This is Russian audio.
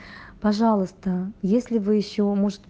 пожалуйста если вы ещё может